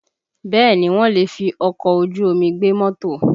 Bẹẹ ni, wọ́n lè fi ọkọ̀ ojú omi gbé mọ́tò